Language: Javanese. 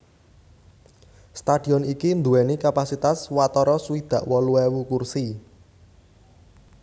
Stadion iki nduwèni kapasitas watara swidak wolu ewu kursi